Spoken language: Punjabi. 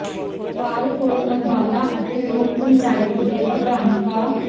ਪਾਲ ਕੌਰ ਅੰਬਾਲਾ ਅਤੇ ਲੋਕ ਪੰਚਾਇਤ ਦੇ ਪ੍ਰਧਾਨ ਕਾ